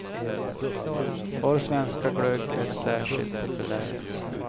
Vår svenska glögg är särskilt populär.